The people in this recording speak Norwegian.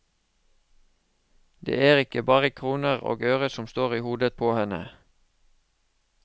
Det er ikke bare kroner og øre som står i hodet på henne.